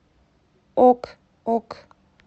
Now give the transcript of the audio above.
ок ок